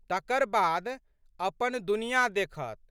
तकर बाद अपन दुनियाँ देखत।